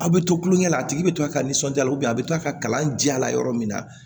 A bɛ to kulonkɛ la a tigi bɛ to ka nisɔndiya a bɛ kila ka kalanja la yɔrɔ min na